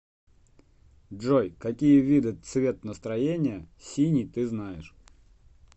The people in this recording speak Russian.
джой какие виды цвет настроения синий ты знаешь